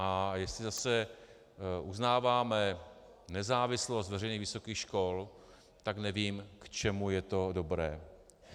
A jestli zase uznáváme nezávislost veřejných vysokých škol, tak nevím, k čemu je to dobré.